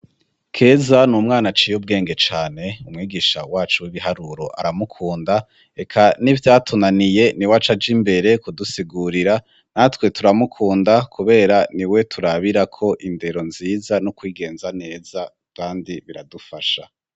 Keza ni umwana ciye ubwenge cane umwigisha wacu w'ibiharuro aramukunda reka nivyatunaniye ni wacaja imbere kudusigurira natwe turamukunda kubera ni we turabira ko indero nziza no kwigenza neza kandi biradufasha.